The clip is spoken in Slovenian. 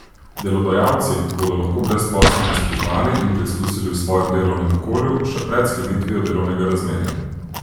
Delodajalci bodo lahko brezposelne spoznali in preizkusili v svojem delovnem okolju še pred sklenitvijo delovnega razmerja.